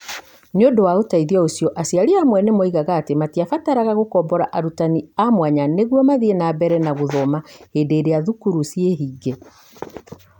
Nĩ ũndũ wa ũteithio ũcio , aciari amwe nĩ moigire atĩ matiabataraga gũkombora arutani a mwanya nĩguo mathiĩ na mbere na gũthoma hĩndĩ ĩrĩa thukuru ciĩhinge.